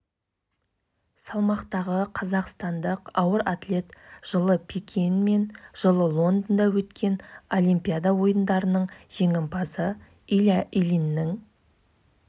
бұған қоса жылы көмірқышқыл газын таратқаны үшін салық та салынбақ дегенмен канадада электр қуатының көмірсутекті қолданусыз